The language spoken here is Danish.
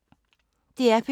DR P2